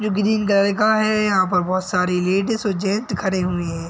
जो green colour का हैं यहाँ पर बहोत सारी लेडिज और जैंट्स खड़े हुए हैं।